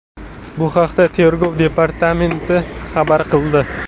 Bu haqda Tergov departamenti xabar qildi .